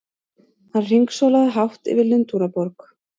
Hann hringsólaði hátt yfir Lundúnaborg!